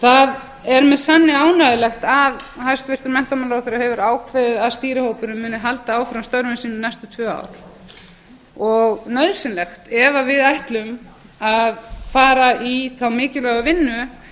það er með sanni ánægjulegt að hæstvirtur menntamálaráðherra hefur ákveðið að stýrihópurinn muni halda áfram störfum sínum næstu tvö ár og nauðsynlegt ef við ætlum að fara í þá mikilvægu vinnu